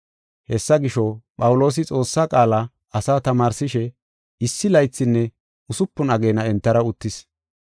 Hessa gisho, Phawuloosi Xoossaa qaala asaa tamaarsishe issi laythinne usupun ageena entara uttis.